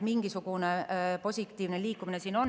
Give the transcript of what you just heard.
Mingisugune positiivne liikumine siin on.